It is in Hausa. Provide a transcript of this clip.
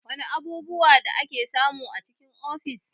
Wana abubuwa da ake samu a cikin ofis?